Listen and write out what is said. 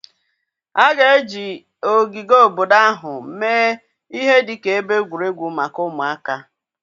A ga-eji ogige obodo ahụ mee ihe dị ka ebe egwuregwu maka ụmụaka.